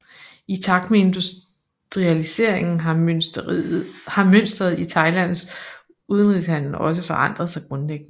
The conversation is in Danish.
I takt med industrialiseringen har mønsteret i Thailands udenrigshandel også forandret sig grundlæggende